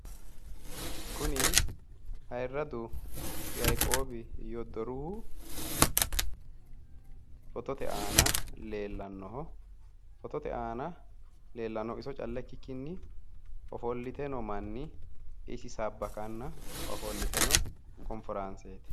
Kuni ayirradu yaiqoobi yoddoruhu fotote aana leellannoho fotote aana leellannohu iso calla ikkikkinni ofolllite noo manni isi sabbakanna ofoltino konforaanseeti.